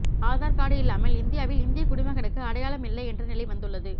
Aadhaar card இல்லாமல் இந்தியாவில் இந்திய குடிமகனுக்கு அடையாளம் இல்லை என்ற நிலை வந்துள்ளது